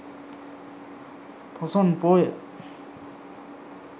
poson poya